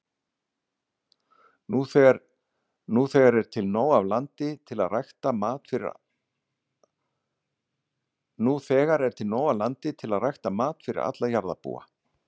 Nú þegar er til nóg af landi til að rækta mat fyrir alla jarðarbúa.